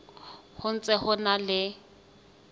ho ntse ho na le